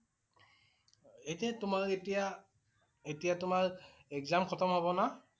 এতিয়া তোমাৰ এতিয়া~এতিয়া তোমাৰ exam খতম হব না?